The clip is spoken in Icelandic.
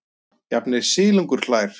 Jafnvel silungurinn hlær.